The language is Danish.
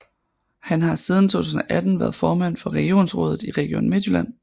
Han har siden 2018 været formand for regionsrådet i Region Midtjylland